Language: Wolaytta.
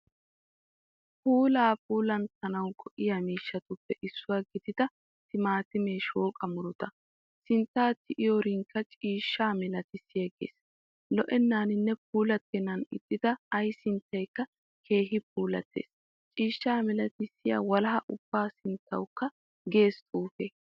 Puula puulatanawu go"iyaa miishshatuppe issuwaa giidida tiimatimee shooqa muruta. sintta tiyeetiyoorinciishsha miilaatisigees. Lo"enaaninne puulatennan ixxida ayi sinttakka keehin puulayees. Cishsha milaatisiya walaha ubba sinttawukka gees xuufe.